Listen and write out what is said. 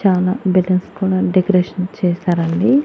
చాలా బెలూన్స్ కూడా డెకరేషన్ చేసారండి.